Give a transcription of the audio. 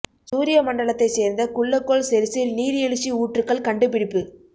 சூரிய மண்டலத்தைச் சேர்ந்த குள்ளக் கோள் செரிஸில் நீர் எழுச்சி ஊற்றுக்கள் கண்டுபிடிப்பு